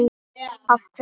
Af hverju?